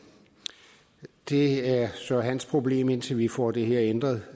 det er så hans problem indtil vi får det her ændret